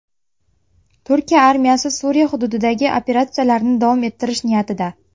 Turkiya armiyasi Suriya hududidagi operatsiyalarni davom ettirish niyatida.